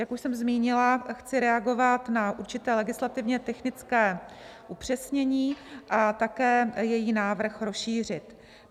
Jak už jsem zmínila, chci reagovat na určité legislativně technické upřesnění a také její návrh rozšířit.